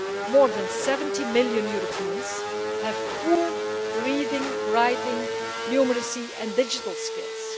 More than 70 million Europeans have poor reading, writing, numeracy and digital skills.